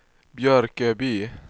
Björköby